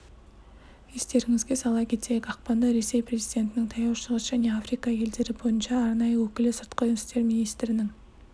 естеріңізге сала кетейік ақпанда ресей президентінің таяу шығыс және африка елдері бойынша арнайы өкілі сыртқы істер министрінің